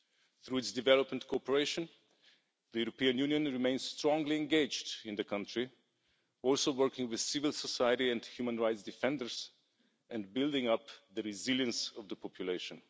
Through its development cooperation, the European Union remains strongly engaged in the country, also working with civil society and human rights defenders and building up the resilience of the population.